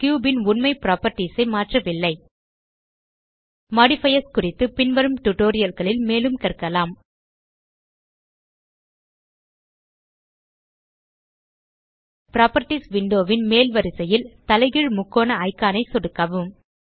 cube ன் உண்மை properties ஐ மாற்றவில்லை மாடிஃபயர்ஸ் குறித்து பின்வரும் tutorialகளில் மேலும் கற்கலாம் புராப்பர்ட்டீஸ் விண்டோ ன் மேல் வரிசையில் தலைகீழ் முக்கோண iconஐ சொடுக்கவும்